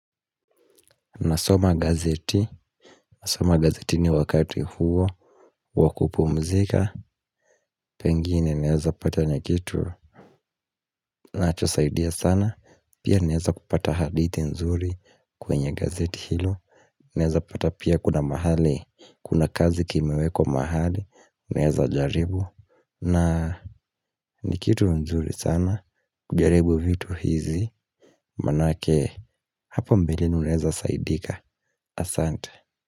Nasoma gazeti, nasoma gazetini wakati huo wa kupumzika. Pengine naeza patana na kitu nacho saidia sana. Pia naeza kupata hadithi nzuri kwenye gazeti hilo. Naeza pata pia kuna mahali. Kuna kazi kimeweko mahali. Naeza jaribu Na Ni kitu nzuri sana. Jaribu vitu hizi. Manake hapo mbeleni unaeza saidika. Asante.